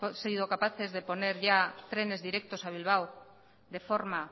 sido capaces de poner ya trenes directos a bilbao de forma